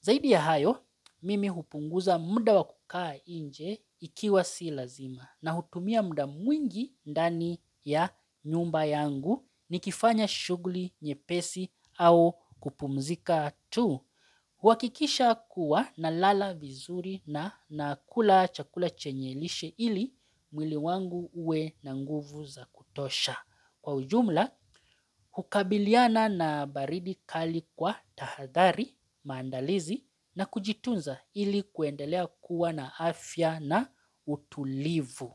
Zaidi ya hayo, mimi hupunguza muda wa kukaa inje ikiwa sio lazima na hutumia muda mwingi ndani ya nyumba yangu nikifanya shughuli nyepesi au kupumzika tu. Huakikisha kuwa nalala vizuri na nakula chakula chenye lishe ili mwiliwangu uwe na nguvu zakutosha. Kwaujumla, hukabiliana na baridi kali kwa tahadhari, maandalizi na kujitunza ili kuendelea kuwa na afya na utulivu.